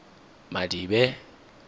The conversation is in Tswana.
madibe